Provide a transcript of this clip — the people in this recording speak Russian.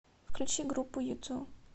включи группу юту